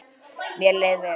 Mér leið vel.